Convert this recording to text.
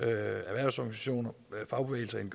erhvervsorganisationer fagbevægelsen